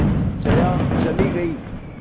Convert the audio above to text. जया चली गई